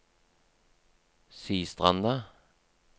Sistranda